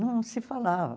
Não se falava.